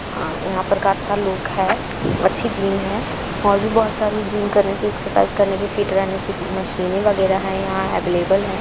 अ यहाँ पर का अच्छा लुक है अच्छी जिम है और भी बहुत सारी जिम करने की एक्सरसाइज करने की फिट रहने की मशीन वगैरा हैं यहाँ अवलेबल है।